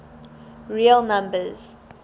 real numbers